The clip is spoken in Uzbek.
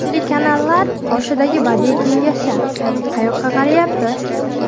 Telekanallar qoshidagi badiiy kengashlar qayoqqa qarayapti?